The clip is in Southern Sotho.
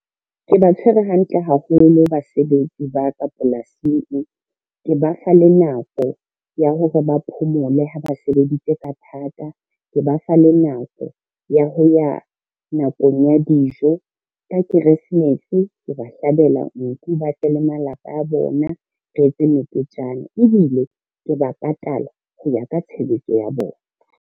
Ke ba tshwerwe hantle haholo basebetsi ba ka polasing, ke ba fa le nako ya hore ba phomole ha ba sebeditse ka thata, ke ba fa le nako ya ho ya nakong ya dijo. Ka keresemese ke ba hlabela nku, ba tle le malapa a bona re etse meketjana, ebile ke ba patala ho ya ka tshebetso ya bona.